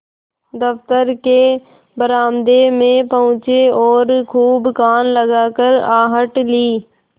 दफ्तर के बरामदे में पहुँचे और खूब कान लगाकर आहट ली